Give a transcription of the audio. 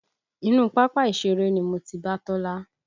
Inú pápá ìṣeré ni mo ti bá Tọ́lá